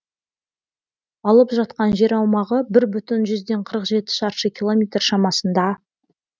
алып жатқан жер аумағы бір бүтін жүзден қырық жеті шаршы километр шамасында